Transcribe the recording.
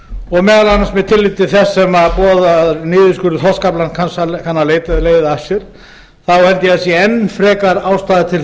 og meðal annars með tilliti til þess sem boðaður niðurskurður þorskaflans kann að leiða af sér þá held ég að sé enn frekar ástæða til